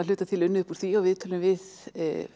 hluta til unnið upp úr því og viðtölum við